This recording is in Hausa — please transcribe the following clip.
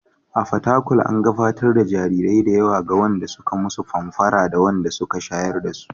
A Fatakwal, an gabatar da jarirai da yawa ga wanda suka musu famfara da wanda suka shayar dasu.